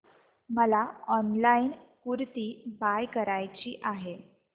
मला online kurti buy करायची आहे